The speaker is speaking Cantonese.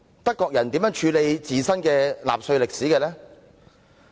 德國人如何處理自身的納粹歷史？